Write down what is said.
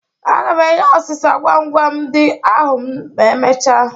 Aga m enye ọsịsa gwam gwam gwam ndị ahụ ma emechaa